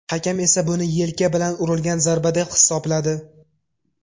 Hakam esa buni yelka bilan urilgan zarba deb hisobladi.